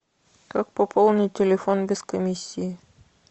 как пополнить телефон без комиссии